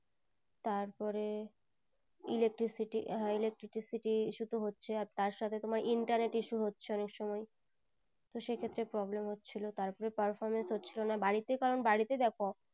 তারপরে electricity হ্যাঁ electricity issue তো হচ্ছেই আর তার সাথে তোমার Internet issue হচ্ছে অনেক সময়ে তো সেই ক্ষেত্রে problem হচ্ছিলো তারপরে performance হচ্ছিলো না বাড়িতে কারণ বাড়িতে দেখো